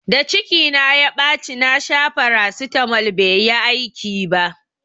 Da ciki na ya ɓaci na sha farasitamol bai yi aiki ba